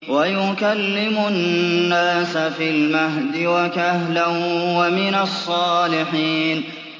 وَيُكَلِّمُ النَّاسَ فِي الْمَهْدِ وَكَهْلًا وَمِنَ الصَّالِحِينَ